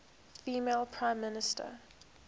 female prime minister